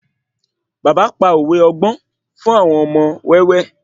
Bàbá pa òwe ọgbọ́n fun àwọn ọmọ wẹ́wẹ́